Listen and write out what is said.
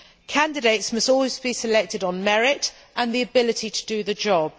Candidates must always be selected on merit and the ability to do the job.